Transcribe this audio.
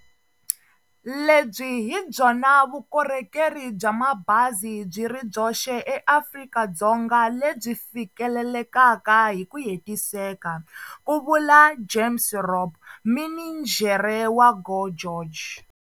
Lebyi hi byona vukorhokeri bya mabazi byi ri byoxe eAfrika-Dzonga lebyi fikelelekaka hi ku hetiseka, ku vula James Robb, mininjhere wa GO GEORGE.